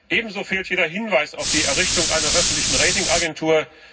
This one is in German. ebenso fehlt jeder Hinweis auf die Errichtung einer öffentlichen Ratingagentur.